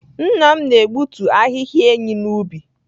Nna m na-egbutu ahịhịa enyí n’ubi.